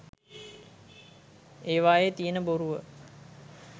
ඒවායේ තියෙන බොරුව.